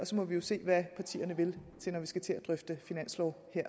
så må vi jo se hvad partierne vil når vi skal til at drøfte finanslov